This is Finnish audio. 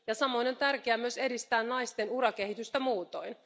Samoin on tärkeää myös edistää naisten urakehitystä muutoin.